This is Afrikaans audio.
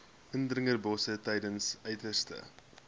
indringerbosse tydens uiterste